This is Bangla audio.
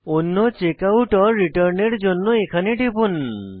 অন্য চেকআউট রিটার্ন এর জন্য এখানে টিপুন